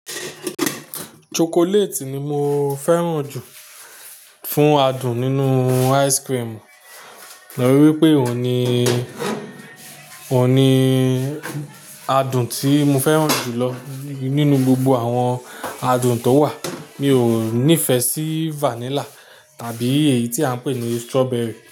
Chocolately ni mo fẹ́ràn jù fún adùn nínú ice cream nítorí pé òun ni, òun ni adùn tí mo fẹ́ràn jù lọ nínú gbogbo àwọn adùn tó wà. Mi ò nífẹ̀ẹ́ sí vanilla tàbí èyí tí a n pè ní strawberry.